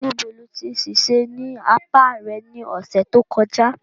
Níbo lo tí ṣèṣe ní apá rẹ ní ọ̀sẹ̀ tó kọjá?